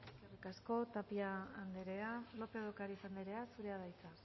eskerrik asko tapia andrea lópez de ocariz andrea zurea da hitza